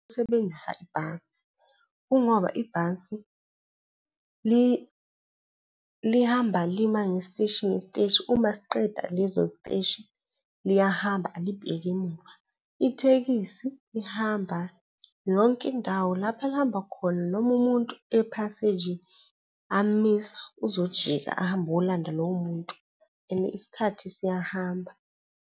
Usebenzisa ibhasi kungoba ibhasi lihamba lima ngesiteshi ngesiteshi, uma siqeda lezositeshi, liyahamba alibheki emuva. Ithekisi lihamba yonke indawo, lapho elihamba khona noma umuntu ephaseji am'misa uzojika, ahambe olanda lowo muntu and isikhathi siyahamba.